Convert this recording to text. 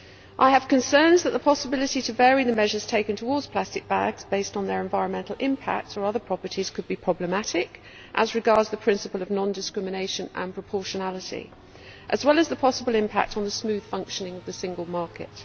I have concerns that the possibility to vary the measures taken towards plastic bags, based on their environmental impact or other properties, could be problematic as regards the principle of non discrimination and proportionality, as well as the possible impact on the smooth functioning of the single market.